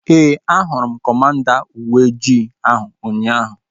Ee, a hụrụ m kọmanda uweojii ahu ụnyaahụ